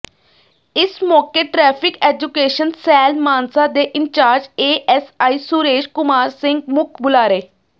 ਇਸ ਮੌਕੇ traffic education cell Mansa ਦੇ ਇੰਚਾਰਜ ਏਐੱਸਆਈ ਸੁਰੇਸ਼ ਕੁਮਾਰ ਸਿੰਘ ਮੁੱਖ ਬੁਲਾਰੇ